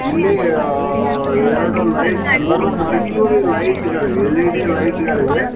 ಇಲ್ಲಿ ಎರಡು ಲೈಟ್ ಮೂರು ಮರ್ಕ್ಯುರಿ ಲೈಟ್ ಗಳಿವೆ ಎಲ್_ಇ_ಡಿ ಲೈಟ್ ಗಳಿವೆ.